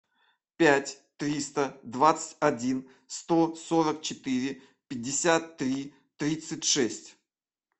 пять триста двадцать один сто сорок четыре пятьдесят три тридцать шесть